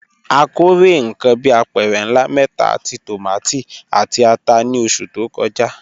A kórè nǹkan bí apẹ̀rẹ̀ ńlá mẹ́ta ti tòmátì àti ata ní oṣù tó kọjá.